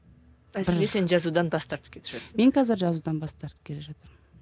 сен жазудан бас тартып кетіп жатырсың мен қазір жазудан бас тартып келе жатырмын